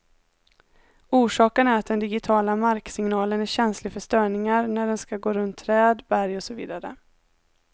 Orsaken är att den digitiala marksignalen är känslig för störningar när den skall gå runt träd, berg och så vidare.